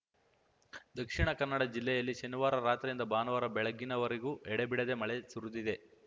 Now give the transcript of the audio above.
ದಕ್ಷಿಣ ಕನ್ನಡ ಜಿಲ್ಲೆಯಲ್ಲಿ ಶನಿವಾರ ರಾತ್ರಿಯಿಂದ ಭಾನುವಾರ ಬೆಳಗ್ಗಿನವರೆಗೂ ಎಡೆಬಿಡದೆ ಮಳೆ ಸುರಿದಿದೆ